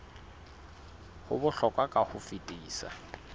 ho bohlokwa ka ho fetisisa